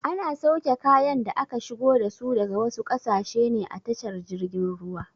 Ana sauke kayan da aka shigo dasu daga wasu ƙasashe ne a tashar jirgin ruwa.